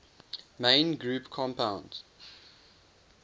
main group compounds